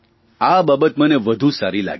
આ બાબત મને વધુ સારી લાગી